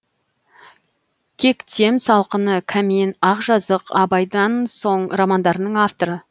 кектем салқыны кәмен ақжазық абайдан соң романдарының авторы